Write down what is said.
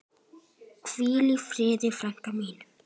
Hvíl í friði frænka mín.